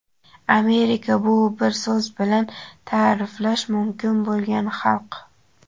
Amerika — bu bir so‘z bilan ta’riflash mumkin bo‘lgan xalq.